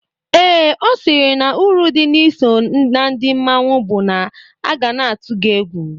Ee, ọ sịrị na uru dị na-iso na ndị mmanwụ bụ na a ga na-atụ gị egwu.